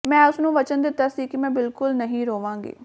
ਮੈਂ ਉਸ ਨੂੰ ਵਚਨ ਦਿੱਤਾ ਸੀ ਕਿ ਮੈਂ ਬਿਲਕੁਲ ਨਹੀਂ ਰੋਵਾਂਗੀ